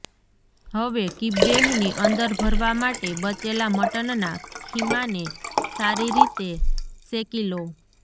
હવે કિબ્બેહની અંદર ભરવા માટે બચેલા મટનના ખીમાને સારી રીતે સેકી લો